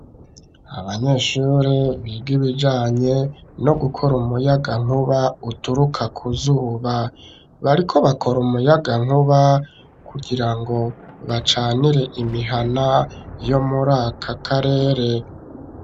Abanyeshuri, biga ibijanye no gukora umuyagankuba, uturuka ku zuba; bariko bakora umuyagankuba, kugira ngo, bacanire imihana, yo muri aka karere.